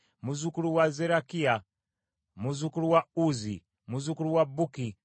muzzukulu wa Zerakiya, muzzukulu wa Uzzi, muzzukulu wa Bukki,